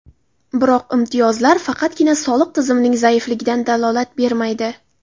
Biroq imtiyozlar faqatgina soliq tizimining zaifligidan dalolat bermaydi.